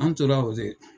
An tora o de